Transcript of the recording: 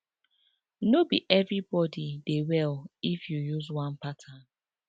no be everybody dey well if you use one pattern